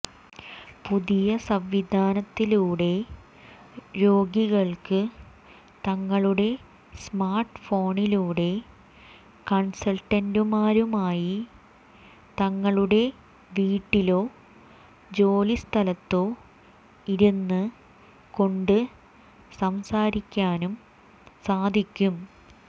പുതിയ സംവിധാനത്തിലൂടെ രോഗികള്ക്ക് തങ്ങളുടെ സ്മാര്ട്ട്ഫോണിലൂടെ കണ്സള്ട്ടന്റുമാരുമായി തങ്ങളുടെ വീട്ടിലോ ജോലി സ്ഥലത്തോ ഇരുന്ന് കൊണ്ട് സംസാരിക്കാനും സാധിക്കും